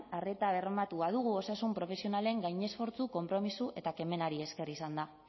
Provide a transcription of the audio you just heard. arreta bermatu badugu osasun profesionalen gainesfortzu konpromiso eta kemenari esker izan da